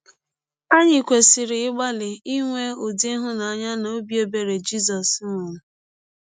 Anyị kwesịrị ịgbalị inwe ụdị ịhụnanya na ọbi ebere Jizọs nwere.